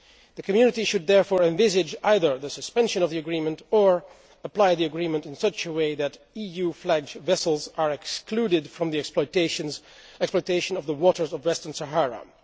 The Community should therefore envisage either the suspension of the agreement or should apply the agreement in such a way that EU flagged vessels are excluded from the exploitation of the waters off Western Sahara.